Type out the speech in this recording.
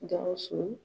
Gawusu